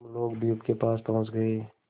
हम लोग द्वीप के पास पहुँच गए